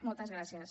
moltes gràcies